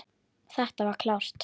Þetta var klárt.